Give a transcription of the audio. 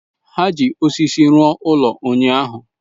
Ha ji osisi rụọ ụlọ ụnyahụ.